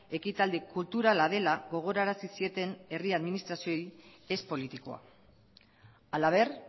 ekitaldi kulturala dela gogorarazi zieten herri administrazioei ez politikoa halaber